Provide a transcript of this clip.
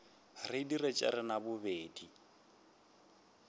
re dire tša rena bobedi